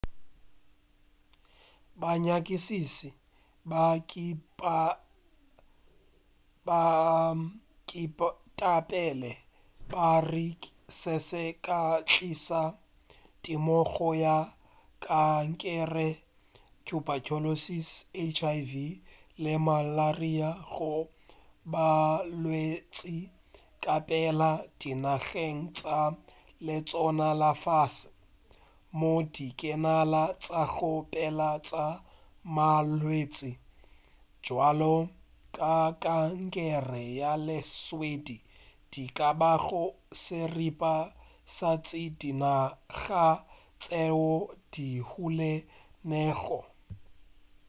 banyakišiši ba ketapele ba re se se ka tliša temogo ya kankere tuberculosis hiv le malaria go balwetši kapela dinageng tša letseno la fase moo ditekano tša go phela tša malwetši a bjalo ka kankere ya letswele di ka bago seripa sa tša dinaga tšeo di humilego